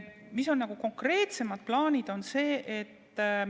Mis on konkreetsemad plaanid?